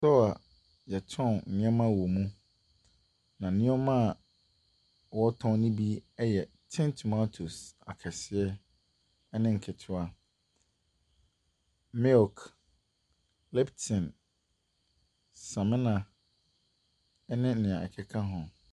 Store a wɔtɔn nneɛma wɔ mu. Na nneɛma a wɔtɔn no bi yɛ tin tomatoes akɛseɛ ne nketewa, milk, lipton, samina, ne deɛ ɛkeka ho.